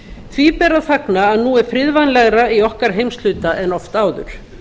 því ber að fagna að nú er friðvænlegra í okkar heimshluta en oft áður